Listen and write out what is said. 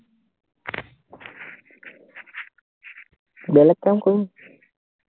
বেলেগ কাম কৰোঁ